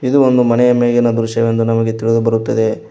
ಇದು ಒಂದು ಮನೆಯ ಮೇಲಿನ ದೃಶ್ಯವೆಂದು ನಮಗೆ ತಿಳಿದು ಬರುತ್ತದೆ.